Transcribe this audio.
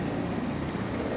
İndi görək nə olur.